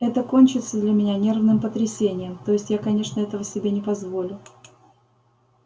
это кончится для меня нервным потрясением то есть я конечно этого себе не позволю